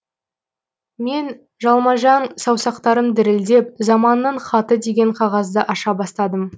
мен жалмажан саусақтарым дірілдеп заманның хаты деген қағазды аша бастадым